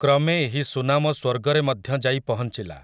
କ୍ରମେ ଏହି ସୁନାମ ସ୍ୱର୍ଗରେ ମଧ୍ୟ ଯାଇ ପହଞ୍ଚିଲା ।